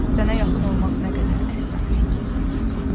Sənə yaxın olmaq nə qədər əsrarəngiz bir məqam.